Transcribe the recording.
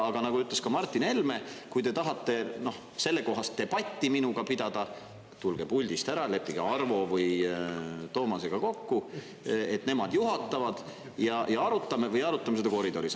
Aga nagu ütles ka Martin Helme, kui te tahate sellekohast debatti minuga pidada, tulge puldist ära, leppige Arvo või Toomasega kokku, et nemad juhatavad, ja arutame, või arutame seda koridoris.